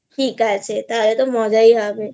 ঠিক আছে তাহলে তোর মজাই হবে